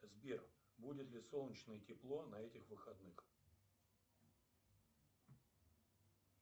сбер будет ли солнечное тепло на этих выходных